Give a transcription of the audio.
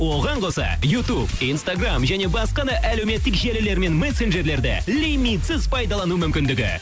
оған қоса ютуб инстаграмм және басқа да әлеуметтік желілер мен мессенджерлерде лимитсіз пайдалану мүмкіндігі